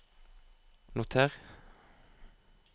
noter